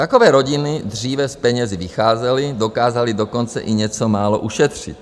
Takové rodiny dříve s penězi vycházely, dokázaly dokonce i něco málo ušetřit.